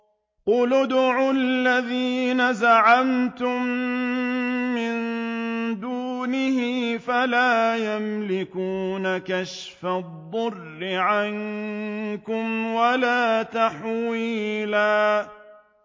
قُلِ ادْعُوا الَّذِينَ زَعَمْتُم مِّن دُونِهِ فَلَا يَمْلِكُونَ كَشْفَ الضُّرِّ عَنكُمْ وَلَا تَحْوِيلًا